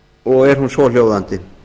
og er hún svohljóðandi